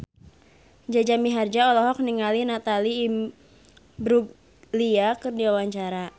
Jaja Mihardja olohok ningali Natalie Imbruglia keur diwawancara